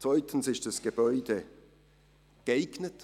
Zweitens ist das Gebäude geeignet;